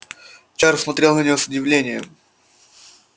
чарлз смотрел на нее с удивлением